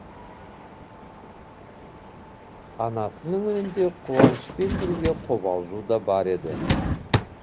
анасының үнінде қуанышпен бірге қобалжу да бар еді